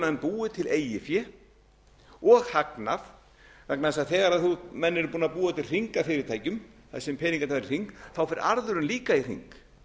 menn búið til eigið fé og hagnað vegna þess að þegar menn eru búnir að búa til hring af fyrirtækjum þar sem peningarnir fara í hring fer arðurinn líka í hring